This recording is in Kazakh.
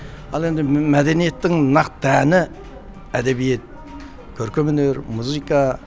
ал енді мәдениеттің нақты әні әдебиет көркемөнер музыка